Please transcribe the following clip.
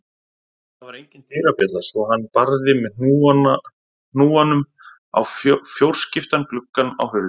Það var engin dyrabjalla svo hann barði með hnúanum á fjórskiptan gluggann á hurðinni.